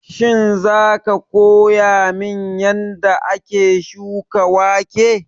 Shin za ka koya min yanda ake shuka wake?